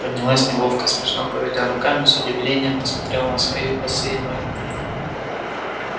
поднялась неловко смешно поведя руками с удивлением посмотрела на свои босые ноги